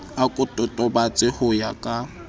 a ko totobatse ho ya